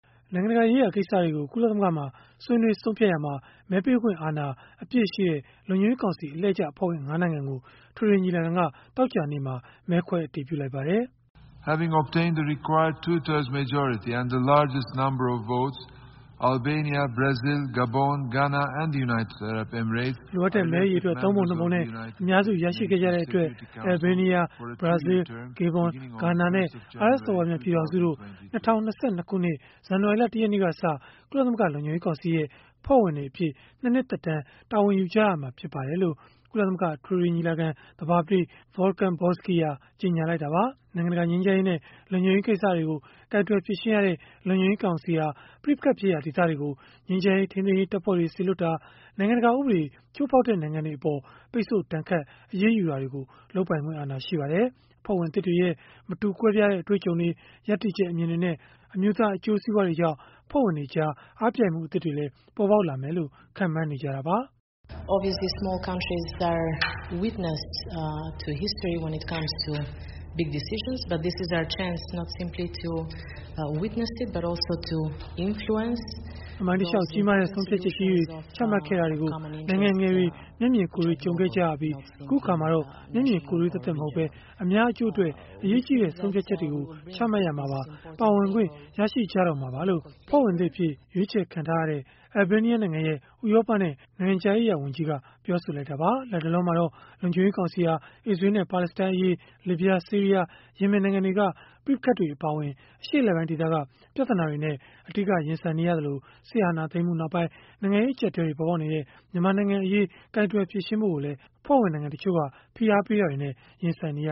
နိုင်ငံတကာရေးရာ ကိစ္စတွေကို ကုလသမဂ္ဂမှာ ဆွေးနွေးဆုံးဖြတ်ရာမှာ မဲပေးခွင့်အာဏာအပြည့်ရှိတဲ့ လုံခြုံရေးကောင်စီ အလှည့်ကျအဖွဲ့ဝင် ၅ နိုင်ငံကို အထွေထွေညီလာခံက သောကြာနေ့မှာ မဲခွဲအတည်ပြုလိုက်ပါတယ်။ “လိုအပ်တဲ့ မဲအရေအတွက် ၃ ပုံ ၂ ပုံနဲ့ အများစု ရရှိခဲ့ကြတဲ့အတွက် အယ်လ်ဘေးနီးယား၊ ဘရာဇီး၊ ဂေဘွန်၊ ဂါနာနဲ့ အာရပ်စော်ဘွားများ ပြည်ထောင်စုတို့ ၂၀၂၂ ခုနှစ် ဇန်နဝါရီလ ၁ ရက်နေ့ကစ၊ ကုလသမဂ္ဂ လုံခြုံရေးကောင်စီရဲ့ အဖွဲ့ဝင်တွေအဖြစ် ၂ နှစ်သက်တမ်း တာဝန်ယူကြရမှာ ဖြစ်ပါတယ်။” လို့ ကုလသမဂ္ဂ အထွေထွေညီလာခံ သဘာပတိ Volkan Bozkir ကြေညာလိုက်တာပါ။ နိုင်ငံတကာ ငြိမ်းချမ်းရေးနဲ့ လုံခြုံရေး ကိစ္စတွေကို ကိုင်တွယ်ဖြေရှင်းရတဲ့ လုံခြုံရေးကောင်စီဟာ ပဋိပက္ခဖြစ်ရာ ဒေသတွေကို ငြိမ်းချမ်းရေး ထိမ်းသိမ်းရေးတပ်ဖွဲ့တွေ စေလွှတ်တာ၊ နိုင်ငံတကာ ဥပဒေ ချိုးဖောက်တဲ့ နိုင်ငံတွေအပေါ် ပိတ်ဆို့ဒဏ်ခတ် အရေးယူတာတွေကို လုပ်ပိုင်ခွင့်အာဏာ ရှိပါတယ်။ အဖွဲ့ဝင်သစ်တွေရဲ့ မတူကွဲပြားတဲ့ အတွေ့အကြုံတွေ၊ ရပ်တည်ချက်အမြင်တွေနဲ့ အမျိုးသား အကျိုးစီးပွားတွေကြောင့် အဖွဲ့ဝင်တွေကြား အားပြိုင်မှုသစ်တွေလည်း ပေါ်ပေါက်လာမယ်လို့ ခန့်မှန်းနေကြတာပါ။ “သမိုင်းတလျှောက် ကြီးမားတဲ့ ဆုံးဖြတ်ချက်ကြီးတွေ ချမှတ်ခဲ့တာကို နိုင်ငံငယ်တွေ မျက်မြင်ကိုယ်တွေ့ ကြုံခဲ့ကြရပြီး၊ အခုအခါ မျက်မြင်ကိုယ်တွေ့ သက်သက်မဟုတ်ပဲ အများအကျိုးအတွက် အရေးကြီးတဲ့ ဆုံးဖြတ်ချက်တွေ ချမှတ်ရာမှာပါ ပါဝင်ခွင့် ရရှိကြတော့မှာပါ။” လို့ အဖွဲ့ဝင်သစ်အဖြစ် ရွေးချယ်ခံရတဲ့ အယ်လ်ဘေးနီးယားနိုင်ငံရဲ့ ဥရောပနဲ့ နိုင်ငံခြားရေးရာဝန်ကြီး Olta Xhaçka ကပြောဆိုလိုက်တာပါ။ လတ်တလောမှာတော့ လုံခြုံရေး ကောင်စီဟာ အစ္စရေးလ်နဲ့ ပါလက်စတိုင်းအရေး၊ လစ်ဗျား၊ ဆီးရီးယား၊ ယီမင်နိုင်ငံတွေက ပဋိပက္ခတွေ အပါအဝင် အရှေ့အလယ်ပိုင်းဒေသက ပြဿနာတွေနဲ့ အဓိက ရင်ဆိုင်နေရသလို စစ်အာဏာသိမ်းမှုနောက်ပိုင်း နိုင်ငံရေး အကျပ်အတည်းတွေ ပေါ်ပေါက်နေတဲ့ မြန်မာနိုင်ငံအရေး ကိုင်တွယ်ဖြေရှင်းဖို့လည်း အဖွဲ့ဝင်နိုင်ငံတချို့က ဖိအားပေးမှုတွေနဲ့ ရင်ဆိုင်နေရ